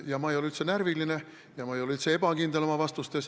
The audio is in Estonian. Ja ma ei ole üldse närviline ja ma ei ole üldse ebakindel oma vastustes.